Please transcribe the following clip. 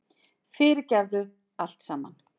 Fyrirgefðu allt saman.